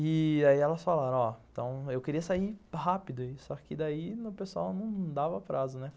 E aí elas falaram, ó, então, eu queria sair rápido, só que daí o pessoal não dava prazo, né?